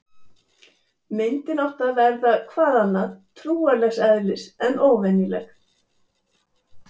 Myndin átti að verða- hvað annað- trúarlegs eðlis, en óvenjuleg.